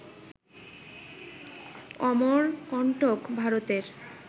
অমরকণ্টক, ভারতের